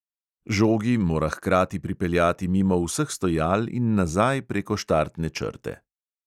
Žogi mora hkrati pripeljati mimo vseh stojal in nazaj preko štartne črte.